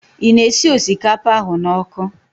Ị na-esi osikapa ahụ n'ọkụ?